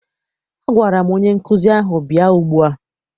Agwara m onye nkụzi ahụ, bịa ugbua!